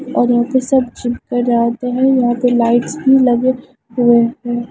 और यहां पे सब जिम कराते हैं यहां पे लाइट्स भी लगे हुए हैं।